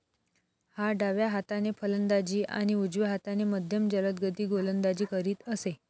हा डाव्या हाताने फलंदाजी आणि उजव्या हाताने मध्यम जलदगती गोलंदाजी करीत असे.